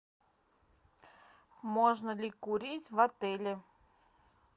можно ли курить в отеле